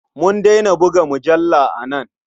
Mun daina buga mujalla a nan.